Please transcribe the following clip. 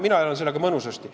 Mina elan mõnusasti.